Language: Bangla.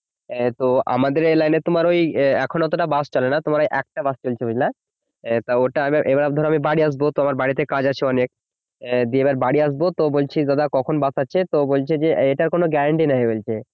এর তো আমাদের এই লাইনে তোমার ওই এখন অতটা বাস চলে না তোমার ওই একটা বাস চলছে বুঝলা তো ওটা এবার ধরো আমি বাড়ি আসবো তো আমার বাড়িতে কাজ আছে অনেক আহ দিয়ে এবার বাড়ি আসবো তো বলছি দাদা কখন বাস আছে তো বলছে যে এটার কোন guarantee নেই বলছে।